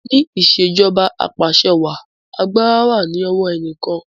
ni Ìṣèjọba Apàṣẹwàá àgbàrá wá ní owo eniyan kán.